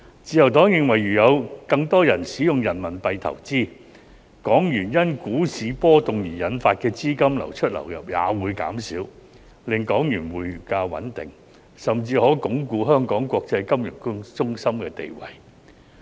自由黨認為如有更多人使用人民幣投資，港元因股市波動而引發的資金流出、流入也會減少，令港元匯價穩定，甚至可鞏固香港國際金融中心的地位。